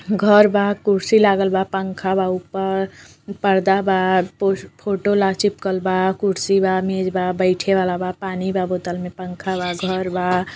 घर बा कुर्सी लागल बा पंखा बा ऊपर पर्दा बा फोटो ला चिपकलवा कुर्सी बा मेज बा बैठे वाला बा पानी बा बोतल में पंखा बा घर बा --